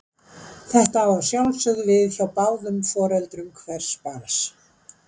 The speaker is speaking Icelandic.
Þetta á að sjálfsögðu við hjá báðum foreldrum hvers barns.